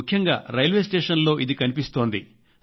ముఖ్యంగా రైల్వే స్టేషన్లలో ఇది కనిపిస్తోంది